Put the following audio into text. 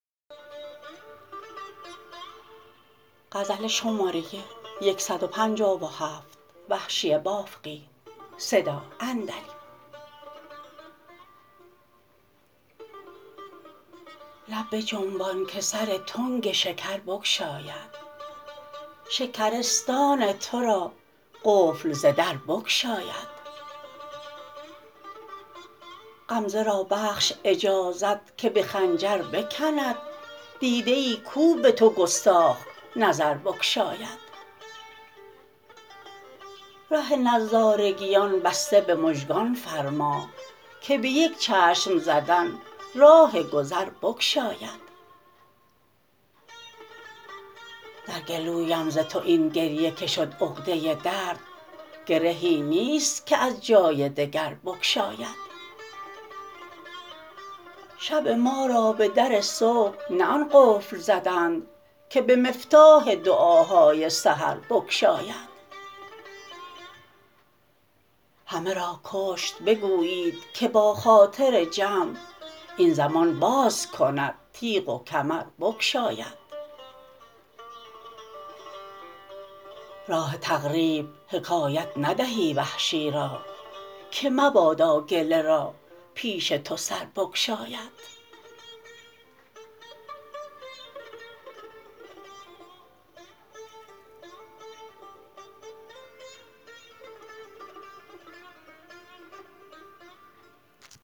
لب بجنبان که سر تنگ شکر بگشاید شکرستان ترا قفل ز در بگشاید غمزه را بخش اجازت که به خنجر بکند دیده ای کو به تو گستاخ نظر بگشاید ره نظارگیان بسته به مژگان فرما که به یک چشم زدن راه گذر بگشاید در گلویم ز تو این گریه که شد عقده درد گرهی نیست که از جای دگر بگشاید شب مارا به در صبح نه آن قفل زدند که به مفتاح دعاهای سحر بگشاید همه را کشت بگویید که با خاطر جمع این زمان باز کند تیغ و کمر بگشاید راه تقریب حکایت ندهی وحشی را که مبادا گله را پیش تو سر بگشاید